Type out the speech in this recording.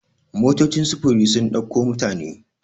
motocin sufuri sun dauko mutane